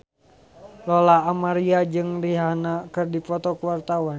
Lola Amaria jeung Rihanna keur dipoto ku wartawan